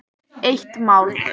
Eitt mál.